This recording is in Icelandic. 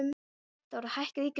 Hafþóra, hækkaðu í græjunum.